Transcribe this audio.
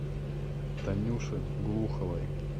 танюше глуховой